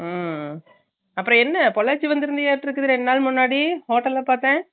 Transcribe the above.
உம் அப்பறோம் என்ன பொள்ளாச்சி வந்துருந்துருக்கு ரெண்டுநாள் முன்னாடி hotel ல பாத்தான்